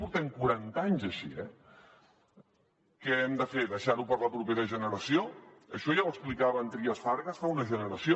portem quaranta anys així eh què hem de fer deixar ho per a la propera generació això ja ho explicava en trias fargas fa una generació